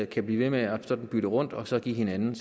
kan blive ved med at bytte rundt og så give hinanden